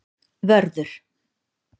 Vörður